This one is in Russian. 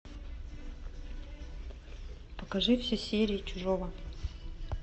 покажи все серии чужого